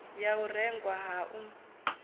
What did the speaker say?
ha u rengwa ha u